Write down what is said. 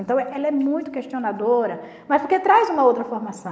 Então ela é muito questionadora, mas porque traz uma outra formação.